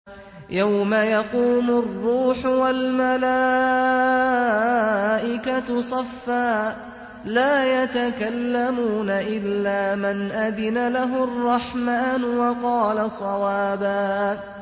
يَوْمَ يَقُومُ الرُّوحُ وَالْمَلَائِكَةُ صَفًّا ۖ لَّا يَتَكَلَّمُونَ إِلَّا مَنْ أَذِنَ لَهُ الرَّحْمَٰنُ وَقَالَ صَوَابًا